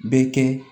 Bɛ kɛ